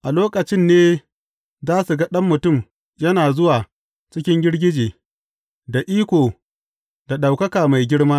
A lokacin ne za su ga Ɗan Mutum yana zuwa cikin girgije, da iko, da ɗaukaka mai girma.